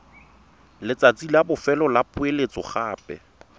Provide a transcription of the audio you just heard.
letsatsi la bofelo la poeletsogape